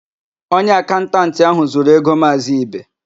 Onye akaụntantị áhụ̀ zuru égo Maazị Ibe.